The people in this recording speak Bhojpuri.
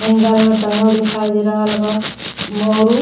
हैंगर में टॉगल दिखाई दे रहल बा औरु --